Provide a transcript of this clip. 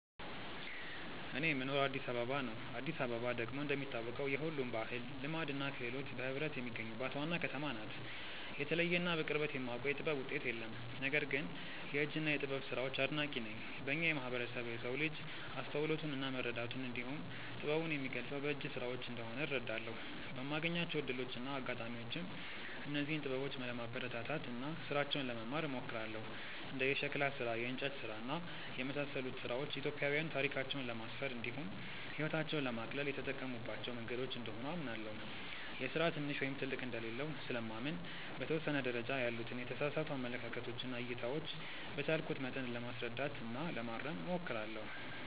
እኔ የምኖረው አዲስ አበባ ነው። አዲስ አበባ ደግሞ እንደሚታወቀው የሁሉም ባህል፣ ልማድ እና ክህሎት በህብረት የሚገኙባት ዋና ከተማ ናት። የተለየ እና በቅርበት የማውቀው የጥበብ ውጤት የለም። ነገር ግን የእጅ እና የጥበብ ስራዎች አድናቂ ነኝ። በእኛ ማህበረሰብ የሰው ልጅ አስተውሎቱን እና መረዳቱን እንዲሁም ጥበቡን የሚገልፀው በእጅ ስራዎች እንደሆነ እረዳለሁ። በማገኛቸው እድሎች እና አጋጣሚዎችም እነዚህን ጥበበኞች ለማበረታታት እና ስራቸውን ለመማር እሞክራለሁ። እንደ የሸክላ ስራ፣ የእንጨት ስራ እና የመሳሰሉት ስራዎች ኢትዮጵያዊያን ታሪካቸውን ለማስፈር እንዲሁም ህይወታቸውን ለማቅለል የተጠቀሙባቸው መንገዶች እንደሆኑ አምናለሁ። የስራ ትንሽ ወይም ትልቅ እንደሌለው ስለማምን በተወሰነ ደረጃ ያሉትን የተሳሳቱ አመለካከቶች እና እይታዎች በቻልኩት መጠን ለማስረዳት እና ለማረም እሞክራለሁ።